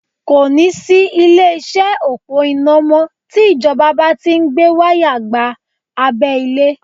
Kò ní sí ilé-iṣẹ́ òpó iná mọ́ tí Ìjọba bá ti Ń gbé wáyà gba abẹ́ ilẹ̀